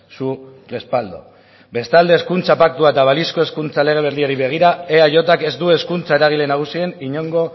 su respaldo bestalde hezkuntza paktua eta balizko hezkuntza lege berriari begira eajk ez du hezkuntza eragile nagusien inongo